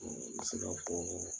an bɛse k'a fɔ